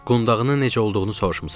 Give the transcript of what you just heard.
Qundağının necə olduğunu soruşmusan.